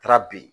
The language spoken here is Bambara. Taara ben